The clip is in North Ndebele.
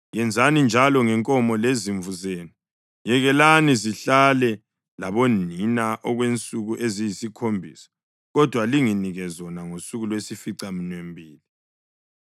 Yenzani njalo ngenkomo lezimvu zenu. Yekelani zihlale labonina okwensuku eziyisikhombisa kodwa linginike zona ngosuku lwesificaminwembili.